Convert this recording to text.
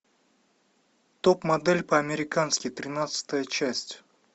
топ модель по американски тринадцатая часть